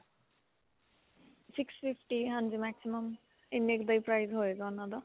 six fifty ਹਾਂਜੀ. maximum ਇੰਨੇ ਕ ਦਾ ਹੀ price ਹੋਏਗਾ ਉਨ੍ਹਾਂ ਦਾ.